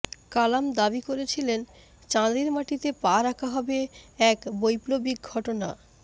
কালাম দাবি করেছিলেন চাঁদের মাটিতে পা রাখা হবে এক বৈপ্লবিক ঘটনা